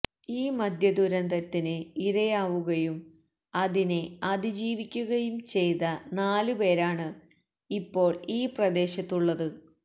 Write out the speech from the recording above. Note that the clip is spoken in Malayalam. ഈ മദ്യദുരന്തത്തിന് ഇരയാവുകയും അതിനെ അതിജീവിക്കുകയും ചെയ്ത നാലുപേരാണ് ഇപ്പോൾ ഈ പ്രദേശത്തുളളത്